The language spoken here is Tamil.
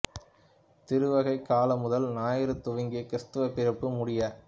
திருவருகைக் கால முதல் ஞாயிறு துவங்கி கிறிஸ்து பிறப்பு முடிய